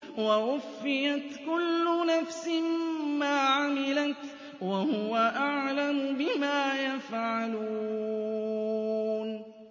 وَوُفِّيَتْ كُلُّ نَفْسٍ مَّا عَمِلَتْ وَهُوَ أَعْلَمُ بِمَا يَفْعَلُونَ